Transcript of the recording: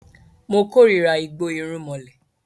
Mo kórira igbó irúmọlẹ̀